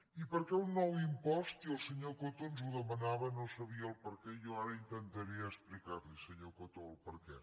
i per què un nou impost i el senyor coto ens ho demanava no sabia el perquè i jo ara intentaré explicar li senyor coto el perquè